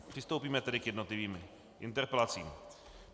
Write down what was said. Přistoupíme tedy k jednotlivým interpelacím.